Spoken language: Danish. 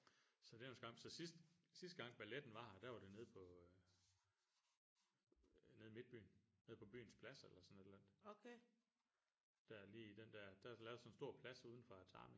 Så det er jo en skam så sidst sidste gang balletten var her der var det nede på nede i midtbyen nede på Byens Plads eller sådan et eller andet der er lige den der der er der lavet sådan en stor plads uden for Atami